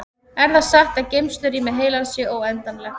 Er það satt að geymslurými heilans sé óendanlegt?